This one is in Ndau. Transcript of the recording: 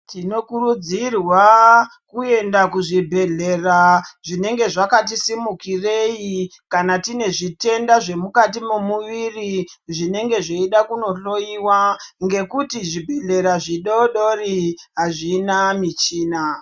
Tinokurudzirwa kuenda kuzvibhehlera zvinenge zvakati simukirei kana tine zvitenda zvemukati mwemuviri zvinenge zveida kunohloyiwa ngekuti zvibhehlera zvidodori azvina michina.